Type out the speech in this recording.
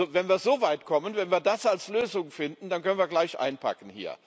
Wenn wir so weit kommen, wenn wir das als Lösung ansehen, dann können wir hier gleich einpacken.